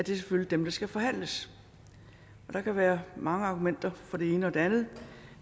selvfølgelig skal forhandles der kan være mange argumenter for det ene og det andet